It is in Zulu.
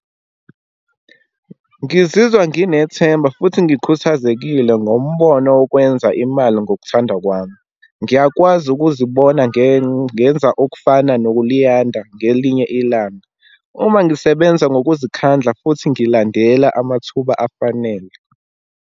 Ngizizwa nginethemba futhi ngikhuthazekile ngombono wokwenza imali ngokuthanda kwami. Ngiyakwazi ukuzibona ngenza okufana nokuLiyanda ngelinye ilanga. Uma ngisebenza ngokuzikhandla futhi ngilandela amathuba afanele.